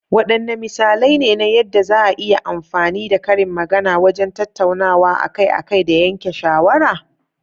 Waɗanne misalai ne na yadda za a iya amfani da karin magana wajen tattaunawa akai-akai da yanke shawara?